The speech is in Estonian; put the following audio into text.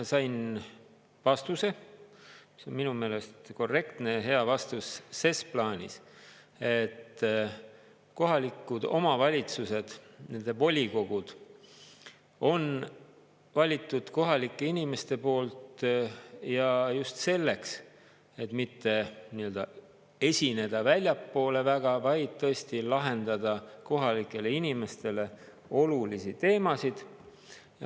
Sain vastuse, see on minu meelest korrektne ja hea vastus ses plaanis, et kohalikud omavalitsused, nende volikogud on valitud kohalike inimeste poolt ja just selleks, et mitte esineda väljapoole väga, vaid tõesti lahendada kohalikele inimestele olulisi teemasid.